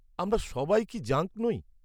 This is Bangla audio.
-আমরা সবাই কি জাঙ্ক নই?